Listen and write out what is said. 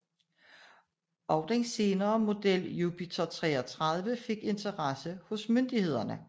Også den senere model Jupiter 33 fik interesse hos myndighederne